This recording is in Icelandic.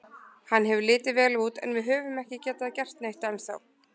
Hann hefur litið vel út en við höfum ekki getað gert neitt ennþá.